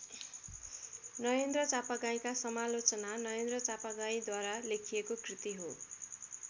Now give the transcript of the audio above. नरेन्द्र चापागाईँका समालोचना नरेन्द्र चापागाईँद्वारा लेखिएको कृति हो।